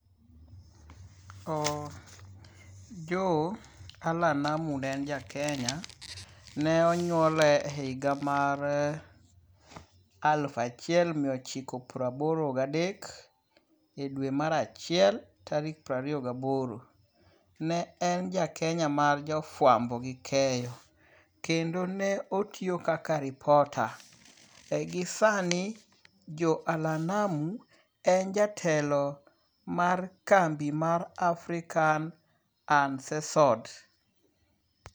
Joe Allan Namu ne en ja Kenya. Ne onyuole higa mar alufu achiel miochiko prababoro gadek e dwe mar achiel tarik piero ariyo gaboro. Ne en ja Kenya mar jo fwambo gi keyo kendo ne otiyo kaka repota. Ei gi sani Joe Alllan Namu e jatelo mar kambi mar African Uncensored.